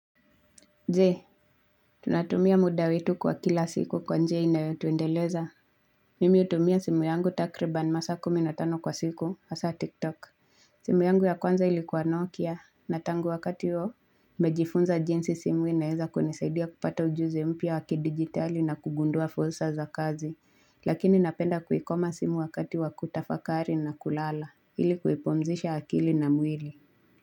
Je, tunatumia mudawetu wa kila siku kwa njia inayotuendeleza? Mimi hutumia simu yangu takriban masaa kuminatano kwa siku, hasa TikTok. Simu yangu ya kwanza ilikuwa Nokia, na tangu wakati huo, nimejifunza jinsi simu inaweza kunisaidia kupata ujuzi mpia wakidigitali na kugundua fursa za kazi. Lakini napenda kuikoma simu wakati wakutafakari na kulala, ilikuipumzisha akili na mwili.